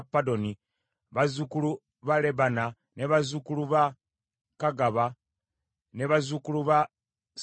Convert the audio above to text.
bazzukulu ba Lebana, bazzukulu ba Kagaba, bazzukulu ba Samulaayi,